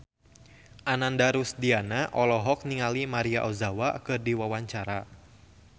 Ananda Rusdiana olohok ningali Maria Ozawa keur diwawancara